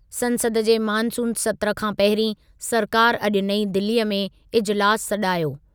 संसद जे मानसून सत्रु खां पहिरीं सरकारि अॼु नईं दिलीअ में इजिलासु सॾायो।